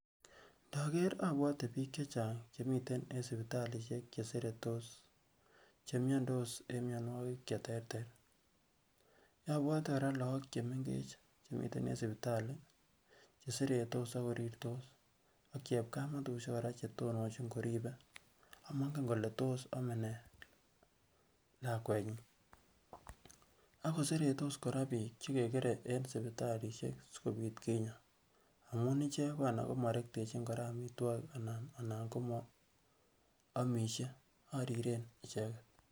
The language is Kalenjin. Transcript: Ndoker obwote bik chechang che mii miten en sipitalisiek che seretos che miyandos en miyonwokik che terter, obwote koraa look chemengech chemiten en sipitalii che seretos ak korirtos, ak chepkamatusyek koraa che tononyin koribe amongen kolee tos omee nee lakwenyin. Ak ko seretos bik che keker en sipitalisiek sikopit kinyaa amun ichek ko anan komorectechin omitwokik anan komoomishe oriren icheget